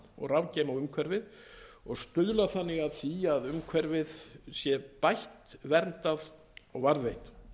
og rafgeyma á umhverfið og stuðla þannig að því að umhverfið sé bætt verndað og varðveitt